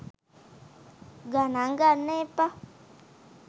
ගනං ගන්න එපා .